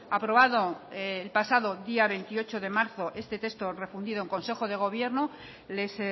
aprobado el pasado día veintiocho de marzo este texto refundido en consejo de gobierno les